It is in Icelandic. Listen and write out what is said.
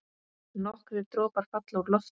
Nokkrir dropar falla úr lofti.